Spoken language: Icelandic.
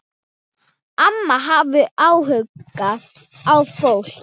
Amma hafði áhuga á fólki.